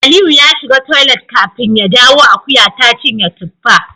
Aliyu ya shiga toilet kafin ya dawo akuya ta cinye tuffa